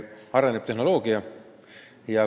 Jah, tehnoloogia areneb.